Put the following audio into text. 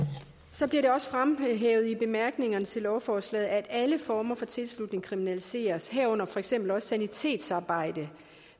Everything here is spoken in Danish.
så bliver det også fremhævet i bemærkningerne til lovforslaget at alle former for tilslutning kriminaliseres herunder for eksempel også sanitetsarbejde